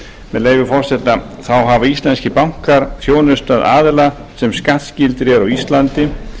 með leyfi forseta þá hafa íslenskir bankar þjónustað aðila sem skattskyldir eru á íslandi